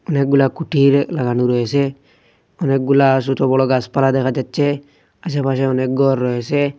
অনেকগুলা খুঁটির লাগানো রয়েসে অনেকগুলা ছোট বড়ো গাসপালা দেখা যাচ্ছে আশেপাশে অনেক গর রয়েসে ।